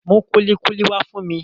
Mú kúlíkúlí wá fún mi